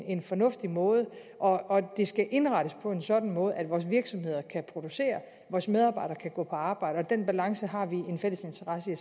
en fornuftig måde og det skal indrettes på en sådan måde at vores virksomheder kan producere og at vores medarbejdere kan gå på arbejde og den balance har vi en fælles interesse